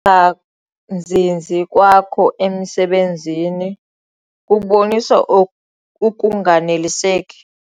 ungazinzi kwakho emisebenzini kubonisa ukunganeliseki.